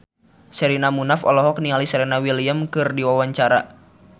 Sherina Munaf olohok ningali Serena Williams keur diwawancara